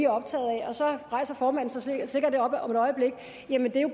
optaget af og så rejser formanden sig sikkert op om et øjeblik